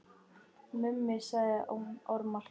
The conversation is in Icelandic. Mummi sagði ormar.